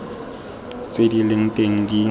tse di leng teng di